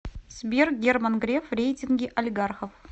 сбер герман греф в рейтинге олигархов